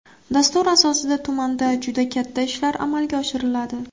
Dastur asosida tumanda juda katta ishlar amalga oshiriladi.